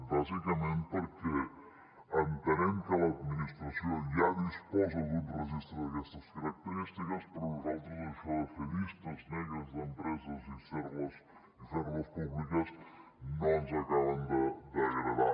bàsicament perquè entenem que l’administració ja disposa d’un registre d’aquestes característiques però a nosaltres això de fer llistes negres d’empreses i fer les públiques no ens acaba d’agradar